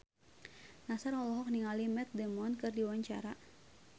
Nassar olohok ningali Matt Damon keur diwawancara